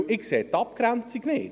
Ich sehe die Abgrenzung nicht.